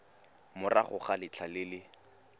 morago ga letlha le le